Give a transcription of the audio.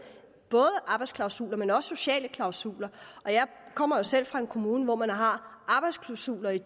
arbejdsklausuler men også med sociale klausuler jeg kommer jo selv fra en kommune hvor man har arbejdsklausuler i